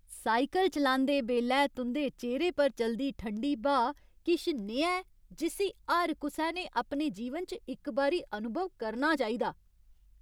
Cycle चलांदे बेल्लै तुं'दे चेह्रे पर चलदी ठंडी ब्हा किश नेहा ऐ जिस्सी हर कुसै ने अपने जीवन च इक बारी अनुभव करना चाहिदा।